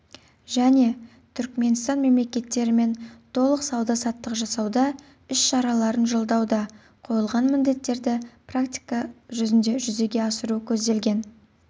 және түркіменстан мемлекеттерімен толық сауда саттық жасауда іс-шараларын жолдауда қойылған міндеттерді практика жүзінде жүзеге асыру көзделген